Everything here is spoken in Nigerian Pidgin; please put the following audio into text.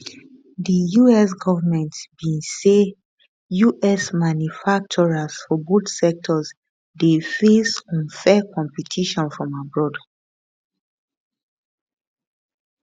di us government bin say us manufacturers for both sectors dey face unfair competition from abroad